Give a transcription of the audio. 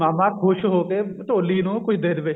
ਮਾਮਾ ਖੁਸ਼ ਹੋ ਕੇ ਢੋਲੀ ਨੂੰ ਕੁੱਝ ਦੇ ਦਵੇ